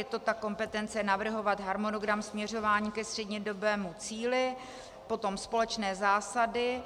Je to ta kompetence navrhovat harmonogram směřování ke střednědobému cíli, potom společné zásady